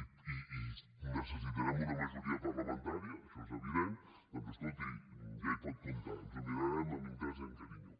necessitarem una majoria parlamentària això és evident doncs escolti ja hi pot comptar ens ho mirarem amb interès i amb carinyo